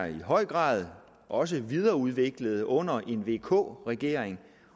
i høj grad også er videreudviklet under en vk regering